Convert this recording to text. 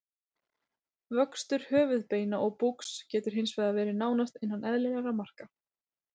Vöxtur höfuðbeina og búks getur hins vegar verið nánast innan eðlilegra marka.